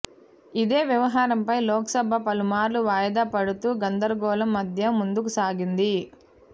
ఇదే వ్యవహారం పై లోక్ సభ పలుమార్లు వాయిదా పడుతూ గందరగోళం మధ్య ముందుకు సాగింది